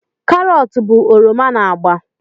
Karọt bụ oroma na agba